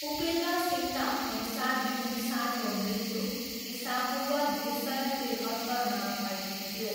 उपेन्द्र सिंहका अनुसार बिन्दुसारको मृत्यु इसापूर्व दुई सय त्रिहत्तरमा भएको थियो।